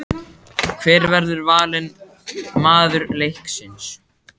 Hver verður valinn maður leiksins?